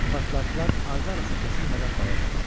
Partlayışlar ardı arası kəsilmədən davam edirdi.